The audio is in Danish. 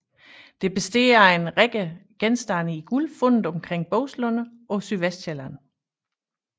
Det består af en række genstande i guld fundet omkring Boeslunde på Sydvestsjælland